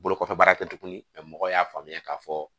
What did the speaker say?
Bolo kɔfɛ baara kɛ tuguni mɛ mɔgɔw y'a faamuya k'a fɔ